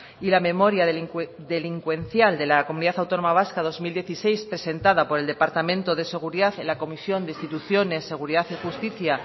y la memoria delincuencial de la comunidad autónoma vasca dos mil dieciséis presentada por el departamento de seguridad en la comisión de instituciones seguridad y justicia